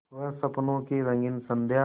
वह स्वप्नों की रंगीन संध्या